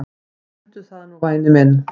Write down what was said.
Mundu það nú væni minn.